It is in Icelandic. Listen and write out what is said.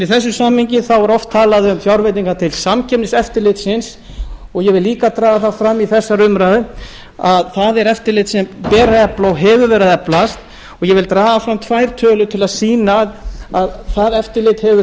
í þessu samhengi er oft talað um fjárveitingar til samkeppniseftirlitsins og ég vil líka draga það fram í þessari umræðu að það er eftirlit sem ber að efla og hefur verið að eflast og ég vil draga fram tvær tölur til að sýna að það eftirlit hefur